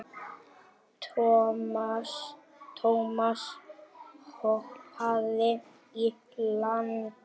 Thomas hoppaði í land.